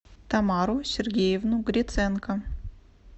тамару сергеевну гриценко